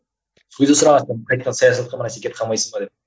сол кезде сұраватыр қайтадан саясатқа бір нәрсеге кетіп калмайсыз ба деп